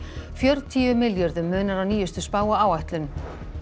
fjörutíu milljörðum munar á nýjustu spá og áætlun